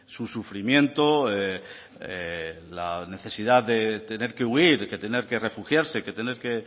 su sufrimiento la necesidad de tener que huir que tener que refugiarse que tener que